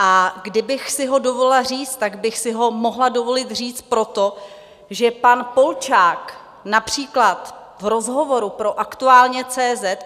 A kdybych si ho dovolila říct, tak bych si ho mohla dovolit říct proto, že pan Polčák například v rozhovoru pro Aktuálně.